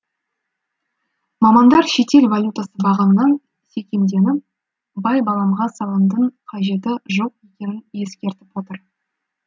мамандар шетел валютасы бағамынан секемденіп байбаламға салынудың қажеті жоқ екенін ескертіп отыр